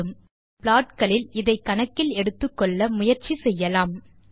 இப்போது நாம் நம் ப்ளாட் களில் இதை கணக்கில் எடுத்துக்கொள்ள முயற்சி செய்யலாம்